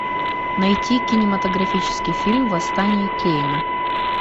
найти кинематографический фильм восстание кейна